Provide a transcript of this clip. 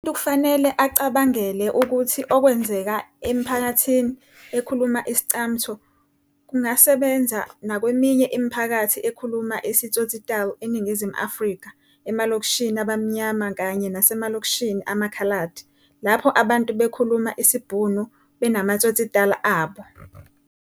Umuntu kufanele acabangele ukuthi okwenzeka emiphakathini ekhuluma isi-Iscamtho kungasebenza nakweminye imiphakathi ekhuluma isiTsotsitaal eNingizimu Afrika, emalokishini abaMnyama kanye nasemalokishini amaKhaladi, lapho abantu abakhuluma isiBhunu benama-tsotsitaal abo.